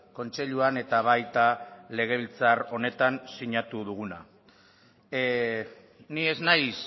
kontseiluan eta baita legebiltzar honetan sinatu duguna ni ez naiz